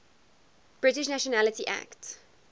british nationality act